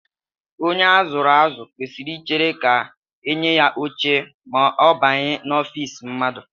Onye a zụrụ azụ kwesịrị ichere ka e nye ya oche ma ọ banye n'ofiisi mmadụ